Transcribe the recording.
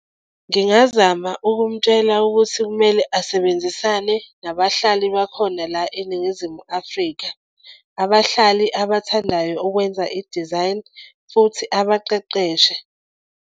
Ngingazama ukumtshela ukuthi kumele asebenzisane nabahlali bakhona la eNingizimu Afrika. Abahlali abathandayo ukwenza idizayini futhi abaqeqeshe.